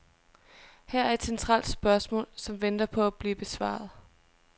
Her er et centralt spørgsmål, som venter på at blive besvaret.